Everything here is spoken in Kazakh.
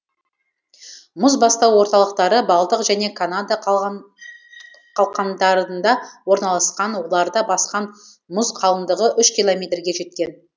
мұзбастау орталықтары балтық және канада қалқандарында орналасқан оларды басқан мұз қалыңдығы үш километрге жеткен